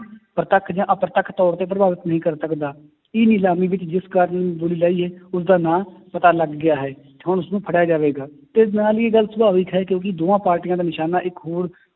ਪ੍ਰਤੱਖ ਜਾ ਅਪ੍ਰੱਤਖ ਤੌਰ ਤੇ ਪ੍ਰਭਾਵਿਤ ਨਹੀਂ ਕਰ ਸਕਦਾ, ਇਹ ਨਿਲਾਮੀ ਵਿੱਚ ਜਿਸ ਕਾਰਨ ਉਸਦਾ ਨਾਂ ਪਤਾ ਲੱਗ ਗਿਆ ਹੈ, ਹੁਣ ਉਸਨੂੰ ਫੜਿਆ ਜਾਵੇਗਾ ਤੇ ਨਾਲ ਹੀ ਇਹ ਗੱਲ ਸੁਭਾਵਕ ਹੈ ਕਿਉਂਕਿ ਦੋਹਾਂ ਪਾਰਟੀਆਂ ਦਾ ਨਿਸ਼ਾਨਾ ਇੱਕ ਹੋਣ